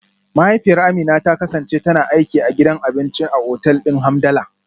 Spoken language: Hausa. Mahaifiyar Amina ta kasance tana aiki a gidan abinci a otal din Hamdala.